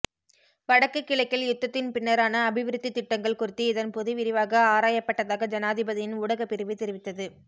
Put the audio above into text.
வடக்கு கிழக்கில் யுத்தத்தின் பின்னரான அபிவிருத்தித் திட்டங்கள் குறித்து இதன்போது விரிவாக ஆராயப்பட்டதாக ஜனாதிபதியின் ஊடகப்பிரிவு தெரிவித்தது